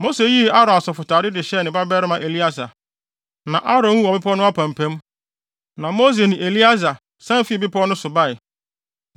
Mose yii Aaron asɔfotade no de hyɛɛ ne babarima Eleasar, na Aaron wuu wɔ bepɔw no apampam. Na Mose ne Eleasar san fii bepɔw no so bae,